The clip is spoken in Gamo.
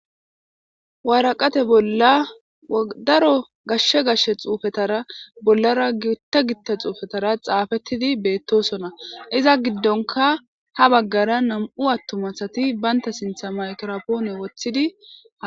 waaraqate bolla daro gashshe gashshe xuufetara bollara gitta gitta xuufetara xaafettidi beettosona iza giddonka ha baggara nam7u attumasati baynta sintha maykropoone wothidiaa